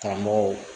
Karamɔgɔw